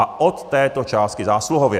A od této částky zásluhově.